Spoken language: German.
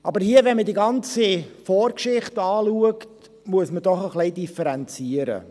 Aber hier, wenn man sich die ganze Vorgeschichte anschaut, muss man doch ein wenig differenzieren.